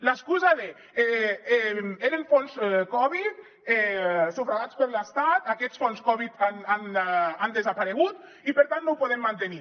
l’excusa d’ eren fons covid sufragats per l’estat aquests fons covid han desaparegut i per tant no ho podem mantenir